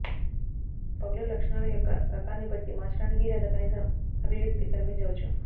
పగులు లక్షణాలు యొక్క రకాన్ని బట్టి మార్చడానికి లేదా కనీసం అభివ్యక్తి కనిపించవచ్చు